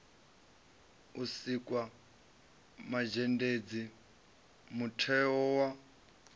u sikwa mazhendedzi mutheo wa